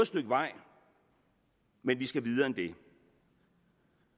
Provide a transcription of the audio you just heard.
stykke vej men vi skal videre end det